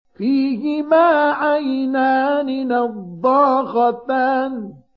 فِيهِمَا عَيْنَانِ نَضَّاخَتَانِ